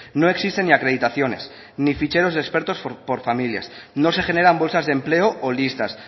no existen ni acreditaciones ni ficheros de expertos por familias no se generan bolsas de empleo o listas